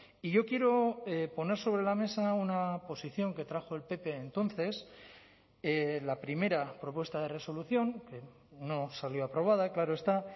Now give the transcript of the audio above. y yo quiero poner sobre la mesa una posición que trajo el pp entonces la primera propuesta de resolución que no salió aprobada claro está